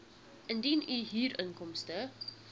indien u huurinkomste